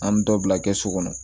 An bɛ dɔ bila kɛsu kɔnɔ